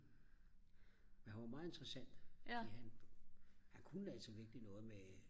han var meget interessant fordi han kunne altså virkelig noget med